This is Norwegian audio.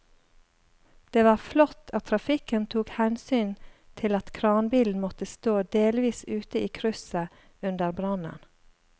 Det var flott at trafikken tok hensyn til at kranbilen måtte stå delvis ute i krysset under brannen.